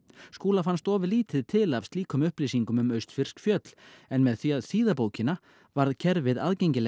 Skúla fannst of lítið til af slíkum upplýsingum um austfirsk fjöll en með því að þýða bókina varð kerfið aðgengilegt